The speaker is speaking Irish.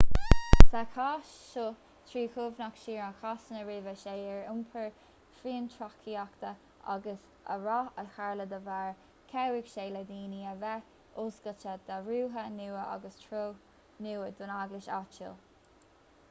sa chás seo trí chuimhneach siar ar chásanna roimhe seo ar iompar fiontraíochta agus an rath a tharla dá bharr chabhraigh sé le daoine a bheith oscailte d'athruithe nua agus treo nua don eaglais áitiúil